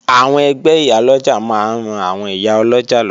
Àwọn ẹgbẹ́ Ìyálọ́jà máa ń ran àwọn ìyá ọlọ́jà lọ́wọ́